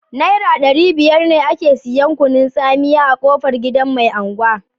Naira ɗari biyar ne ake siyan kunun tsamiya a kofan gidan mai angwa